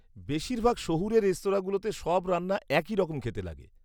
-বেশিরভাগ শহুরে রেস্তরাঁগুলোতে সব রান্না একই রকম খেতে লাগে।